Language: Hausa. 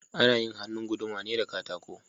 Ana yin hannun guduma ne da katako